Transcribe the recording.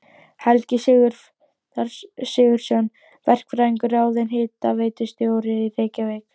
Helgi Sigurðsson verkfræðingur ráðinn hitaveitustjóri í Reykjavík.